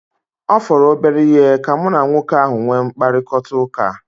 Ọ fọrọ obere ihe ka mụ na nwoke ahu nwee mkparịkọtaụka